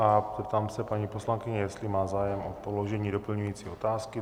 A zeptám se paní poslankyně, jestli má zájem o položení doplňující otázky.